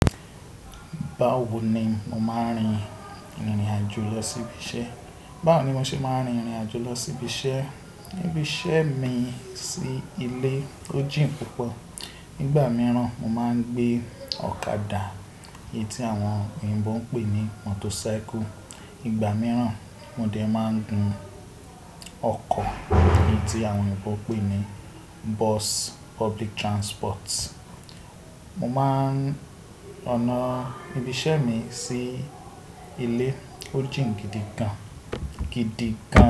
Bawo ni mo máa ń rin ìrìn àjò lọ sí ibi iṣẹ́? Bawo ni mo ṣe máa ń rin ìrìn àjò lọ sí ibi iṣẹ́? Ibi iṣẹ́ mi sí ilé ó jìn púpọ̀. Nígbà mìíràn mo máa ń gbé ọ̀kadà, èyí tí àwọn oyinbo ń pè ní motorcycle. Ìgbà mìíràn mo dẹ̀ máa ń gun ọkọ̀ èyí tí àwọn oyinbo ń pè ní bus, public transport. Mo máa ń ọ̀nà ibi iṣẹ́ mi sí ilé ó jìn gidi gan-gidi gan.